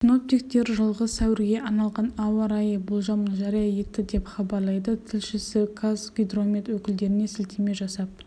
синоптиктер жылғы сәуірге арналған ауа райы болжамын жария етті деп хабарлайды тілшісі қазгидромет өкілдеріне сілтеме жасап